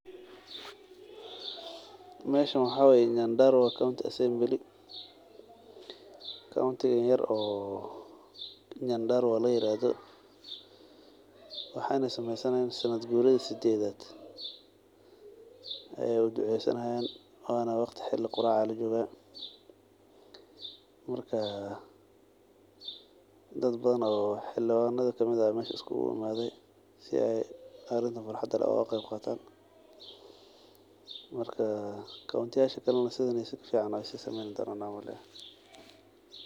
Meshan waxawaye Nyandarua county assembly. county yaar oo Nyandarua laa iradho waxayna sameysana sanad qulayadha sadethat way duceysanayan wana waqti xili qurac lajoqa markaa dadbadhan oo xiliwandaha kamid aa mesha iskuqu imadhe si aay xaladaan quraxda ay uu kulagebgatan marka county [sc]yasha kalana sidhan sikafican sii sameyn donan umaleya.